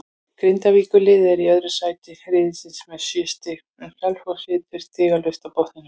Grindavíkurliðið er í öðru sæti riðilsins með sjö stig en Selfoss situr stigalaust á botninum.